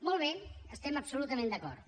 molt bé hi estem absolutament d’acord